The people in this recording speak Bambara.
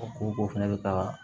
O ko fɛnɛ bɛ taa